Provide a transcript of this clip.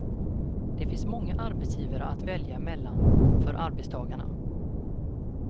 Det finns många arbetsgivare att välja mellan för arbetstagarna.